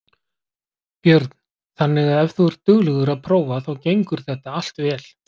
Björn: Þannig að ef þú ert duglegur að prófa þá gengur þetta allt vel?